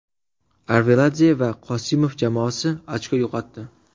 Arveladze va Qosimov jamoasi ochko yo‘qotdi.